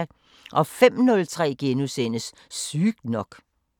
05:03: Sygt nok *